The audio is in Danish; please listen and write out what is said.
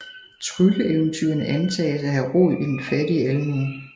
Trylleeventyrene antages at have rod i den fattige almue